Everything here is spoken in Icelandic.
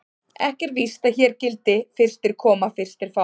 Ekki er víst að hér gildi: Fyrstir koma, fyrstir fá.